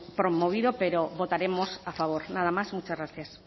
promovido pero votaremos a favor nada más muchas gracias